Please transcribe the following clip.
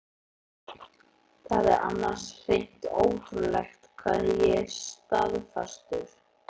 Það er annars hreint ótrúlegt hvað ég er staðfastur.